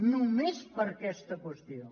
només per aquesta qüestió